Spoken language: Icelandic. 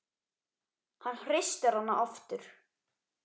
Hann hristir hana aftur.